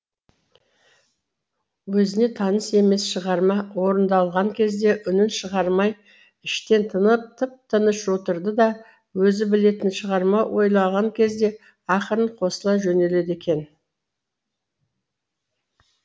өзіне таныс емес шығарма орындалған кезде үнін шығармай іштен тынып тып тыныш отырды да өзі білетін шығарма ойналған кезде ақырын қосыла жөнеледі екен